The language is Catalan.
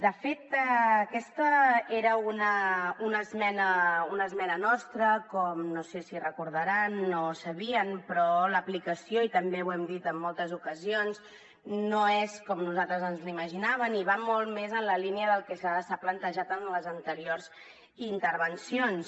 de fet aquesta era una esmena nostra com no sé si recordaran o no ho sabien però l’aplicació i també ho hem dit en moltes ocasions no és com nosaltres ens l’imaginàvem i va molt més en la línia del que s’ha plantejat en les anteriors intervencions